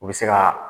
U bɛ se ka